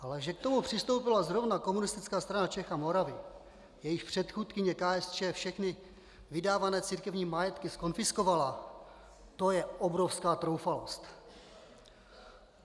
Ale že k tomu přistoupila zrovna Komunistická strana Čech a Moravy, jejíž předchůdkyně KSČ všechny vydávané církevní majetky zkonfiskovala, to je obrovská troufalost.